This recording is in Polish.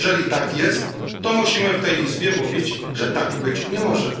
Jeżeli tak jest, to musimy w tej Izbie mówić, że tak być nie może.